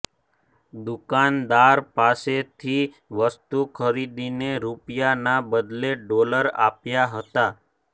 દુકાનદાર પાસેથી વસ્તુ ખરીદીને રૂપિયાના બદલે ડોલર આપ્યા હતાં